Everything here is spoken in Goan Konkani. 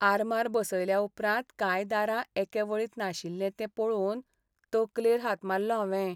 आरमार बसयल्या उपरांत कांय दारां एके वळींत नाशिल्लीं तें पळोवन तकलेर हात मारलो हांवें.